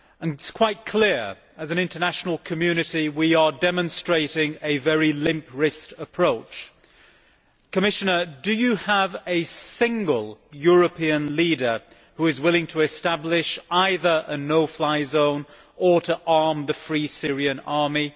It is quite clear that, as an international community, we are demonstrating a very limp wristed approach. Commissioner, do you have a single European leader who is willing to establish either a no fly zone or to arm the Free Syrian Army?